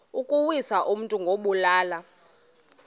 ukuwisa umntu ngokumbulala